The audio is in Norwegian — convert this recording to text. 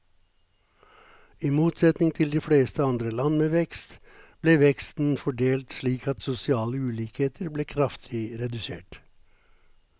I motsetning til de fleste andre land med vekst, ble veksten fordelt slik at sosiale ulikheter ble kraftig redusert.